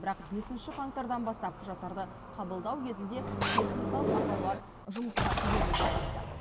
бірақ бесінші қаңтардан бастап құжаттарды қабылдау кезінде техникалық ақаулар жұмысқа кедергі келтіріпті